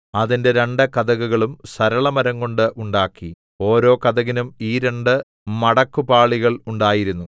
അതിന്റെ രണ്ട് കതകുകളും സരളമരംകൊണ്ട് ഉണ്ടാക്കി ഓരോ കതകിനും ഈ രണ്ട് മടക്കുപാളികൾ ഉണ്ടായിരുന്നു